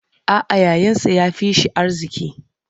A'a, yayansa ya fi shi arziki.